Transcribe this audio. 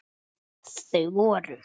Þau voru